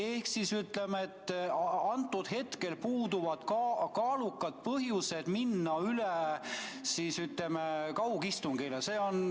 Ehk siis võib öelda, et praegu puuduvad kaalukad põhjused minna üle kaugistungile.